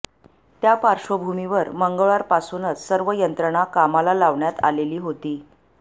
त्यापार्श्वभूमीवर मंगळवार पासूनच सर्व यंत्रणा कामाला लावण्यात आलेली होती